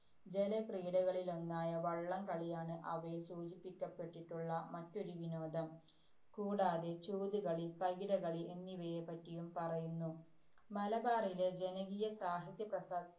ജലക്രീഡകളിലൊന്നായ വള്ളം കളിയാണ് അവയില്‍ സൂചിപ്പിക്കപ്പെട്ടിട്ടുള്ള മറ്റൊരു വിനോദം. കൂടാതെ ചൂതുകളി, പകിടകളി എന്നിവയെപ്പറ്റിയും പറയുന്നു. മലബാറിലെ ജനകീയ സാഹിത്യപ്രസ്ഥാ~